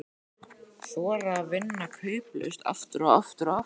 Þora að vinna kauplaust, aftur og aftur og aftur.